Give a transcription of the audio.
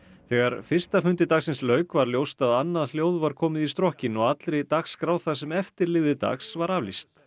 þegar fyrsta fundi dagsins lauk var ljóst að annað hljóð var komið í strokkinn og allri dagskrá það sem eftir lifði dags var aflýst